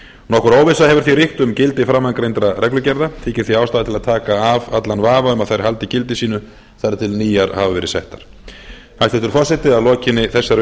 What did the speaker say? nokkur óvissa hefur því ríkt um gildi framangreindra reglugerða þykir því ástæða til að taka af allan vafa um að þær haldi gildi sínu þar til nýjar hafa verið settar hæstvirtur forseti að lokinni þessari